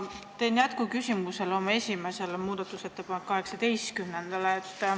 Ma esitan jätkuküsimuse oma esimese muudatusettepaneku kohta, mille number on 18.